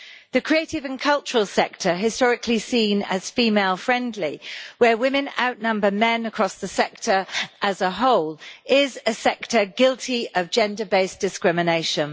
The creative and cultural sector, which is historically seen as female-friendly and where women outnumber men across the sector as a whole, is a sector guilty of gender based discrimination.